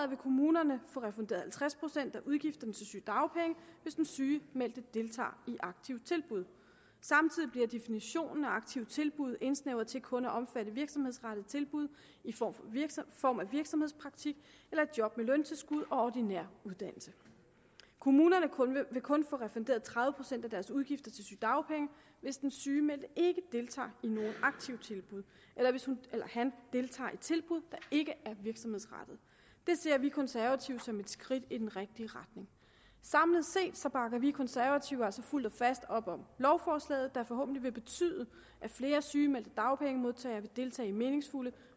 vil kommunerne få refunderet halvtreds procent af udgifterne til sygedagpenge hvis den sygemeldte deltager i aktive tilbud samtidig bliver definitionen af aktive tilbud indsnævret til kun at omfatte virksomhedsrettede tilbud i form form af virksomhedspraktik eller job med løntilskud og ordinær uddannelse kommunerne vil kun få refunderet tredive procent af deres udgifter til sygedagpenge hvis den sygemeldte ikke deltager i nogen aktive tilbud eller hvis hun eller han deltager i tilbud der ikke er virksomhedsrettede det ser vi konservative som et skridt i den rigtige retning samlet set bakker vi konservative altså fuldt og fast op om lovforslaget der forhåbentlig vil betyde at flere sygemeldte dagpengemodtagere vil deltage i meningsfulde